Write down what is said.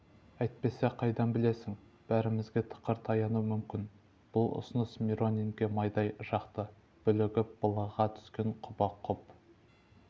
әйтпесе қайдан білесің бәрімізге тықыр таянуы мүмкін бұл ұсыныс миронинге майдай жақты бүлігіп былыға түскен құба құп